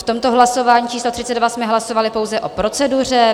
V tomto hlasování číslo 32 jsme hlasovali pouze o proceduře.